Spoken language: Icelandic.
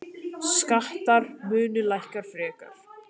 Skattar munu lækka frekar.